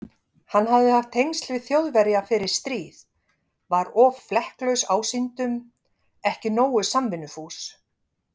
Hann hafði haft tengsl við Þjóðverja fyrir stríð, var of flekklaus ásýndum, ekki nógu samvinnufús.